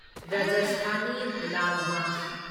Rajasthani laal ꯃꯥꯁ